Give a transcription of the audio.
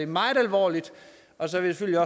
meget alvorligt og så vil jeg